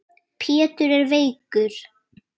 Pétur er veikur.